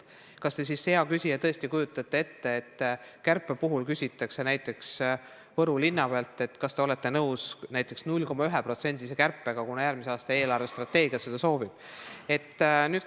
Kas te, hea küsija, tõesti kujutate ette, et kärpe puhul küsitakse näiteks Võru linnapealt, kas ta on nõus näiteks 0,1%-lise kärpega, kuna järgmise aasta eelarvestrateegia seda soovib?